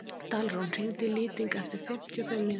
Dalrún, hringdu í Lýting eftir fimmtíu og fimm mínútur.